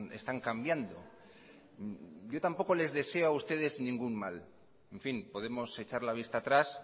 están cambiando yo tampoco les deseo a ustedes ningún mal en fin podemos echar la vista atrás